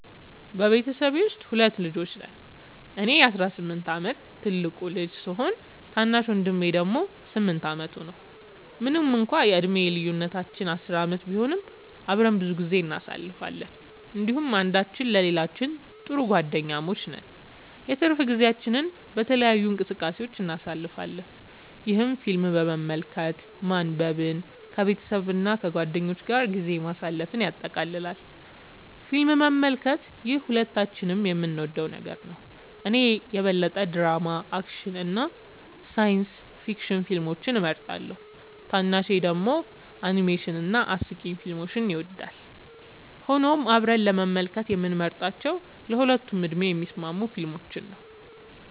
በቤተሰቤ ውስጥ ሁለት ልጆች ነን - እኔ የ18 ዓመት ትልቁ ልጅ ሲሆን፣ ታናሽ ወንድሜ ደግሞ 8 ዓመቱ ነው። ምንም እንኳን የዕድሜ ልዩነታችን 10 ዓመት ቢሆንም፣ አብረን ብዙ ጊዜ እናሳልፋለን እንዲሁም አንዳችን ለሌላችን ጥሩ ጓደኛሞች ነን። የትርፍ ጊዜያችንን በተለያዩ እንቅስቃሴዎች እናሳልፋለን፣ ይህም ፊልም መመልከትን፣ ማንበብን፣ ከቤተሰብ እና ከጓደኞች ጋር ጊዜ ማሳለፍን ያጠቃልላል። ፊልም መመልከት - ይህ ሁለታችንም የምንወደው ነገር ነው። እኔ የበለጠ ድራማ፣ አክሽን እና ሳይንስ ፊክሽን ፊልሞችን እመርጣለሁ፣ ታናሹ ደግሞ አኒሜሽን እና አስቂኝ ፊልሞችን ይወዳል። ሆኖም አብረን ለመመልከት የምንመርጣቸው ለሁለቱም ዕድሜ የሚስማሙ ፊልሞች ናቸው።